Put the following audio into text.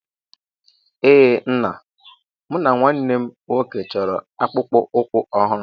Ee Nna, mụ na nwanne m nwoke chọrọ akpụkpọ ụkwụ ọhụrụ